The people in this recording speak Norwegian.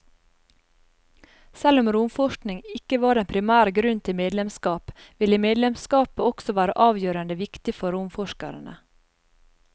Selv om romforskning ikke var den primære grunnen til medlemskap, ville medlemskapet også være avgjørende viktig for romforskerne.